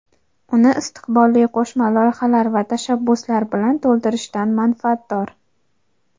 uni istiqbolli qo‘shma loyihalar va tashabbuslar bilan to‘ldirishdan manfaatdor.